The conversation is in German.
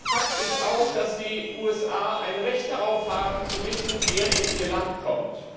Fakt ist auch, dass die USA ein Recht darauf haben, zu wissen, wer in ihr Land kommt.